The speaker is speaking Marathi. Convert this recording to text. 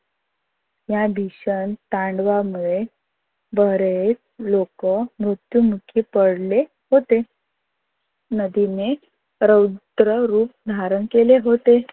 या भीषण तांडवामुळे बरेच लोक मृत्युमुखी पडले होते. नदीने रुद्र रूप धारण केले होते.